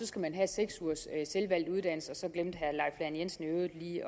skal have seks ugers selvvalgt uddannelse og så glemte herre lahn jensen jo i